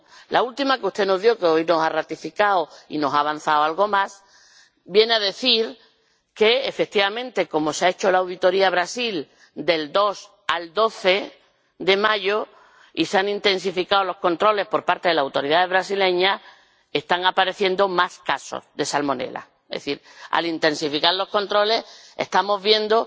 La última, que usted nos dio y que hoy nos ha ratificado y nos ha avanzado algo más, viene a decir que, efectivamente, como se ha hecho la auditoría a Brasil del 2 al 12 de mayo, y se han intensificado los controles por parte de las autoridades brasileñas, están apareciendo más casos de salmonela, es decir, al intensificar los controles estamos viendo